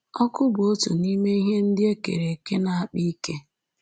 Ọkụ bụ otu n’ime ihe ndị e kere eke na-akpa ike